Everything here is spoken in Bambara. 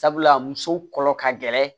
Sabula muso kɔnɔ ka gɛlɛn